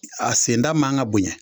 A senda man kan ka bonyɛ